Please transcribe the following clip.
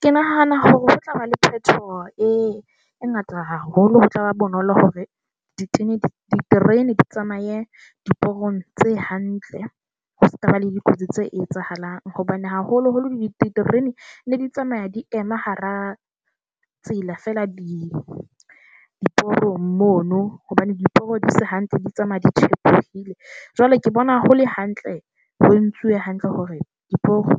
Ke nahana hore ho tlaba le phetoho e ngata haholo. Ho tlaba bonolo hore di tsenye diterene di tsamaye diporong tse hantle. Ho sekaba le dikotsi tse etsahalang hobane haholoholo diterene di ne di tsamaya di ema hara tsela fela, diporong mono hobane diporo di se hantle, di tsamaya di tjhepohile . Jwale ke bona ho le hantle ho entswe hantle hore diporo